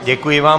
Děkuji vám.